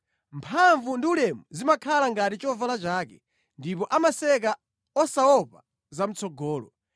Mphamvu ndi ulemu zimakhala ngati chovala chake; ndipo amaseka osaopa zamʼtsogolo.